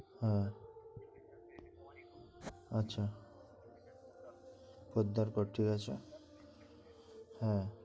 হ্যাঁ হ্যাঁ আচ্ছা পদ্দার কোট ঠিক আছে হ্যাঁ